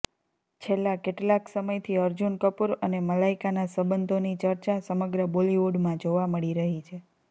છેલ્લા કેટલાક સમયથી અર્જુન કપુર અને મલાઇકાના સંબંધોની ચર્ચા સમગ્ર બોલિવુડમાં જોવા મળી રહી છે